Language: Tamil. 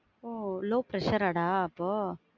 ஒ low pressure ஆ டா அப்போ.